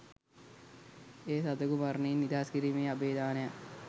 එය සතකු මරණයෙන් නිදහස් කිරීමේ අභය දානයක්.